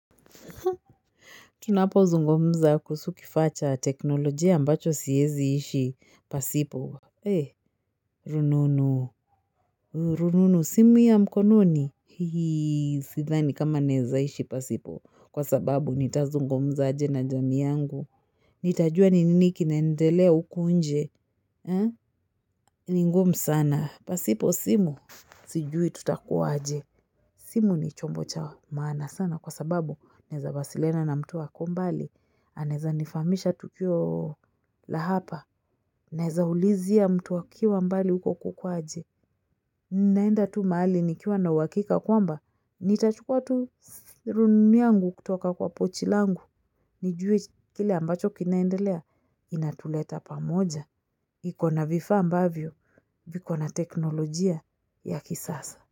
Tunapozungumza kuhusu kifaa cha teknolojia ambacho siezi ishi pasipo. Eh, rununu, rununu, simu ya mkononi. Hii, sidhani kama naezaishi pasipo. Kwa sababu nitazungumza aje na jamii yangu. Nitajua ni nini kinaendelea huku nje. Ni ngumu sana. Pasipo simu. Sijui tutakuwa aje. Simu ni chombo cha maana sana. Kwa sababu, naezawasiliana na mtu ako mbali. Anaezanifahamisha tukio la hapa, naezaulizia mtu akiwa mbali huko kuko aje. Ninaenda tu mahali nikiwa na uhakika kwamba, nitachukua tu rununu yangu kutoka kwa pochi langu. Nijue kile ambacho kinaendelea, inatuleta pamoja. Iko na vifaa ambavyo, viko na teknolojia ya kisasa.